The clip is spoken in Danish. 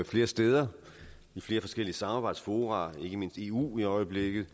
flere steder i flere forskellige samarbejdsfora ikke mindst i eu i øjeblikket